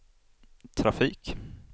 trafik